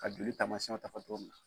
Ka joli taamasiyɛnw ta fo cogo min na.